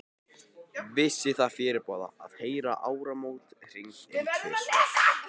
Vissi það fyrirboða, að heyra áramót hringd inn tvisvar.